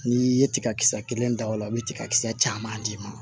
N'i ye tigakisɛ kelen da o la i bɛ tigakisɛ caman d'i ma